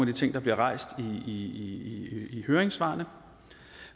de ting der bliver rejst i i høringssvarene